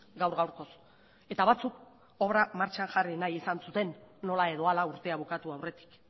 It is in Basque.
gaur gaurkoz eta batzuk obra martxan jarri nahi izan zuten nola edo hala urtea bukatu aurretik